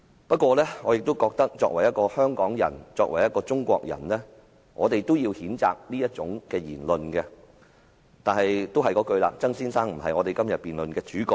不過，我認為作為香港人、中國人，應該譴責這種言論，但曾先生並非今天這項辯論的主角。